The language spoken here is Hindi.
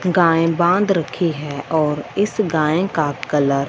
गाय बांध रखी है और इस गाय का कलर --